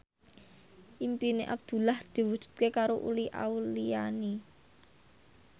impine Abdullah diwujudke karo Uli Auliani